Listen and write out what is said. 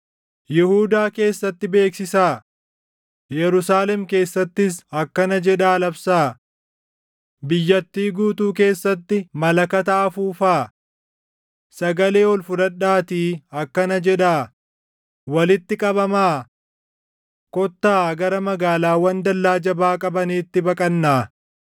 “Yihuudaa keessatti beeksisaa; // Yerusaalem keessattis akkana jedhaa labsaa: ‘Biyyattii guutuu keessatti malakata afuufaa! Sagalee ol fudhadhaatii akkana jedhaa: walitti qabamaa! Kottaa gara magaalaawwan dallaa jabaa qabaniitti baqannaa!’